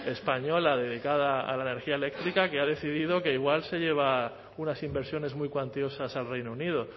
española dedicada a la energía eléctrica que ha decidido que igual se lleva unas inversiones muy cuantiosas al reino unido